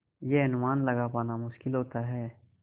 यह अनुमान लगा पाना मुश्किल होता है